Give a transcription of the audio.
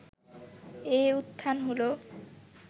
এই উত্থান হলো